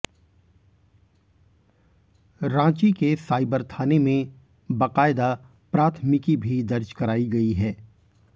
रांची के साइबर थाने में बकायदा प्राथमिकी भी दर्ज कराई गई है